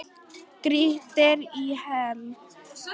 Grýttir í hel.